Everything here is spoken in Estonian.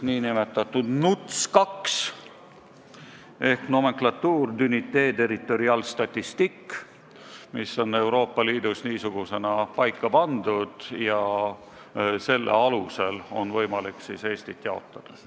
Nõndanimetatud NUTS ehk nomenclature d'unités territoriales statistiques on Euroopa Liidus niisugusena paika pandud ja selle alusel on võimalik ka Eestit jaotada.